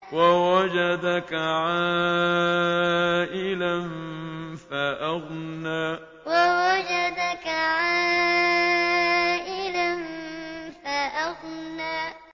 وَوَجَدَكَ عَائِلًا فَأَغْنَىٰ وَوَجَدَكَ عَائِلًا فَأَغْنَىٰ